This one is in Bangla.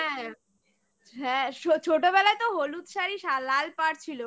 হ্যাঁ ছোটবেলায় তো হলুদ শাড়ি লাল পাড় ছিল